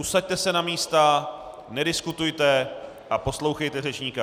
Usaďte se na místa, nediskutujte a poslouchejte řečníka.